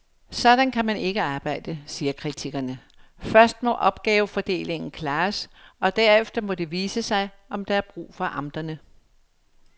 Sådan kan man ikke arbejde, siger kritikerne, først må opgavefordelingen klares, derefter må det vise sig, om der er brug for amterne.